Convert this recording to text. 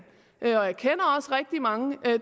og jeg kender også rigtig mange